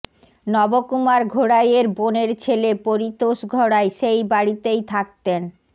নব কুমার ঘোড়াইয়ের বোনের ছেলে পরিতোষ ঘোড়াই সেই বাড়িতেই থাকতেন